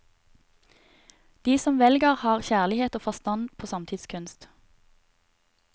De som velger har kjærlighet og forstand på samtidskunst.